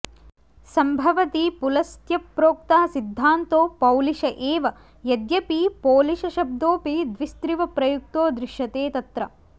सम्भवति पुलस्त्यप्रोक्तः सिद्धान्तो पौलिश एव यद्यपि पोलिशशब्दोऽपि द्विस्त्रिव प्रयुक्तो दृश्यते तत्र